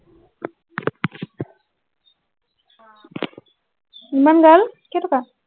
ইমান ভাল কেই টকা